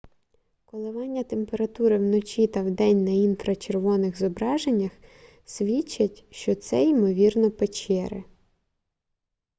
коливання температури вночі та вдень на інфрачервоних зображеннях свідчать що це ймовірно печери